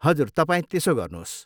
हजुर, तपाईँ त्यसो गर्नुहोस्।